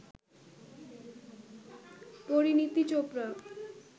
Parineeti Chopra